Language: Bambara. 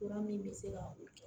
Fura min bɛ se ka